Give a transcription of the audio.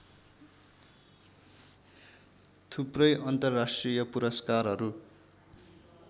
थुप्रै अन्तर्राष्ट्रिय पुरस्कारहरू